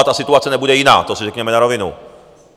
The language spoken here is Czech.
A ta situace nebude jiná, to si řekněme na rovinu.